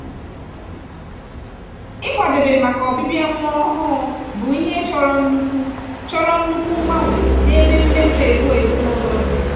ikwadebe maka ọbịbịa nwa ọhụụ bụ ihe chọrọ nnukwu chọrọ nnukwu mgbanwe n'ebe mmefu ego ezinụlọ dị.